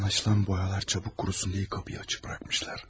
Anlaşılan boyalar çabuk qurusun deyə qapıyı açıq buraxmışlar.